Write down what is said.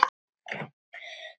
Ég talaði ekkert við hann.